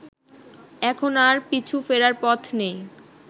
এখন আর পিছু ফেরার পথ নেই